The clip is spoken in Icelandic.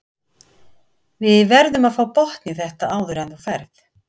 Við verðum að fá botn í þetta áður en þú ferð.